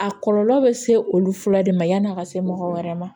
A kɔlɔlɔ bɛ se olu fɔlɔ de ma yan'a ka se mɔgɔ wɛrɛ ma